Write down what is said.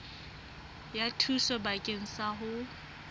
ya thuso bakeng sa ho